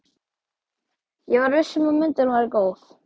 Ég var viss um að myndin væri góð.